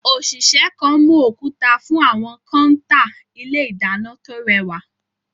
Òṣìṣẹ́ kan mú òkúta fún àwọn kọ́ńtà ilé ìdáná tó rẹwà.